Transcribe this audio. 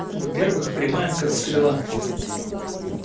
во-первых прямая как стрела